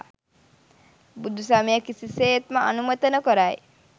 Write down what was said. බුදුසමය කිසිසේත්ම අනුමත නොකරයි.